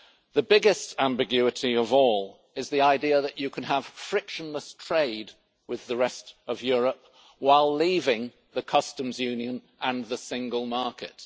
The biggest ambiguity of all is the idea that you can have frictionless trade with the rest of Europe while leaving the Customs Union and the single market.